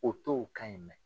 O t'o kan in mɛn.